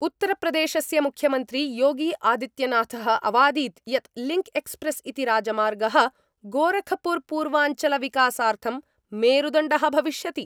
उत्तरप्रदेशस्य मुख्यमंत्री योगी आदित्यनाथ: अवादीत् यत् लिंक्एक्सप्रेस् इति राजमार्गः गोरखपुरपूर्वांचलविकासार्थं मेरुदण्डः भविष्यति।